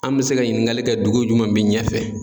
An bɛ se ka ɲininkali kɛ dugu jumɛn bɛ ɲɛfɛ.